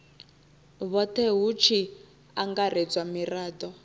vhothe hu tshi angaredzwa mirado